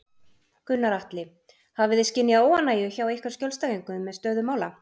Gunnar Atli: Hafið þið skynjað óánægju hjá ykkar skjólstæðingum með stöðu mála?